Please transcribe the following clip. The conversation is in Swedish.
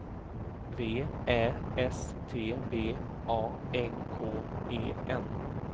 V Ä S T B A N K E N